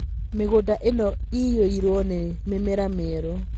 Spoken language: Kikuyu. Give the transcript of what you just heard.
Mĩgũnda ĩno ĩiyũirũo nĩ mĩmera mĩerũ